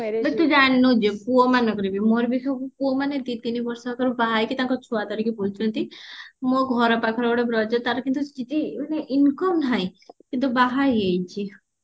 ବେ ତୁ ଜାଣିନୁ ଯେ ପୁଅମାଙ୍କର ବି ମୋର ବି ସବୁ ପୁଅ ମାନେ ଦି ତିନି ବର୍ଷ ତଳେ ବାହା ହେଇକି ତାଙ୍କ ଛୁଆ ଧରିକି ବୁଲୁଛନ୍ତି ମୋ ଘର ପାଖରେ ଗୋଟେ ବ୍ରଜ ତାର କିନ୍ତୁ ସ୍ଥିତି ମାନେ income ନାହିଁ କିନ୍ତୁ ବାହା ହେଇ ଯାଇଛି